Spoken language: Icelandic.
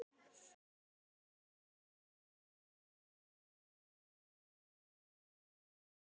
Þín, Fjóla.